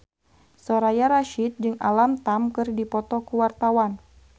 Soraya Rasyid jeung Alam Tam keur dipoto ku wartawan